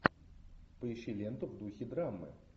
поищи ленту в духе драмы